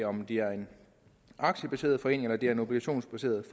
om de er en aktiebaseret forening eller de er en obligationsbaseret